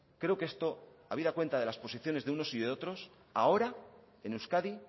creo que esto habida cuenta de las posiciones de unos y de otros ahora en euskadi